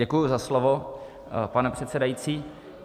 Děkuji za slovo, pane předsedající.